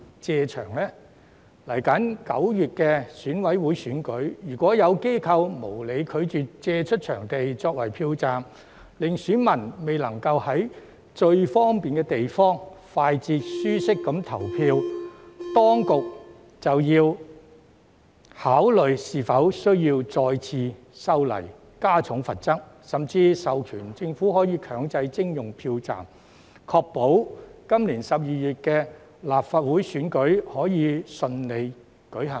接下來9月的選委會選舉，如果有機構無理拒絕借出場地作為票站，令選民未能在最方便的地方，快捷及舒適地投票，當局便要考慮是否需要再次修例，加重罰則，甚至授權政府可以強制徵用票站，確保今年12月的立法會選舉可以順利舉行。